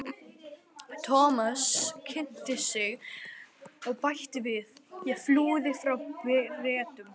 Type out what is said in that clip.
Thomas kynnti sig og bætti við: Ég flúði frá Bretum